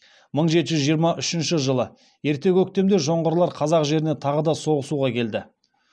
мың жеті жүз жиырма үшінші жылы ерте көктемде жоңғарлар қазақ жеріне тағы да соғысуға келді